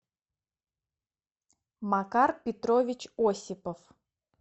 макар петрович осипов